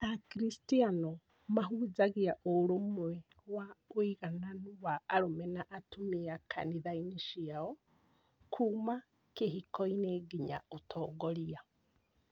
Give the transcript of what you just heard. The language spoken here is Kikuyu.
Akristiano mahunjagia ũrũmwe wa ũigananu wa arũme na atumia kanitha-inĩ ciao, kuuma kĩhiko-inĩ nginya ũtongoria.